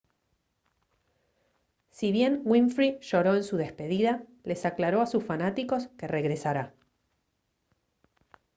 si bien winfrey lloró en su despedida les aclaró a sus fanáticos que regresará